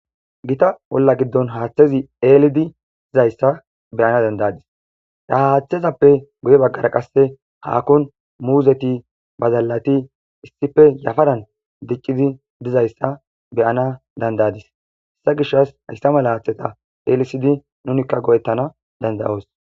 gita olla giddon haaththezi eelidi dizayssa beyana dandadis haa haaththezappe guye baggara qasse haakon muuzeti bazallati issife yafadan diccidi dizayssa beyana dandadis hessa gishas hayssa mala haaththeta eelisidi nunikka go7ettana dandayoos